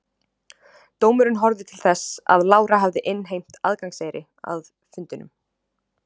dómurinn horfði til þess að lára hafði innheimt aðgangseyri að fundunum